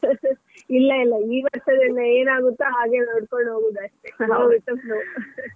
ಇಲ್ಲ ಇಲ್ಲ ಈ ವರ್ಷದಲ್ಲಿ ಏನಾಗುತ್ತೋ ಹಾಗೆ ಮಾಡ್ಕೊಂಡು ಹೋಗುದು ಅಷ್ಟೇ.